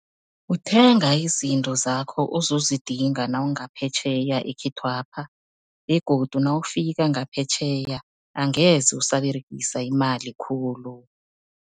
Uthenga izinto zakho ozozidinga nawungaphetjheya ekhethwapha begodu nawufika ngaphetjheya, angeze usaberegisa imali khulu.